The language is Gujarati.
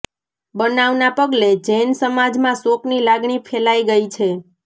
બનાવના પગલે જૈન સમાજમાં શોકની લાગણી ફેલાઇ ગઇ છે